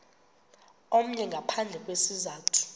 omnye ngaphandle kwesizathu